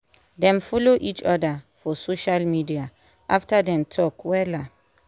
dem follow each oda for social media after dem talk wella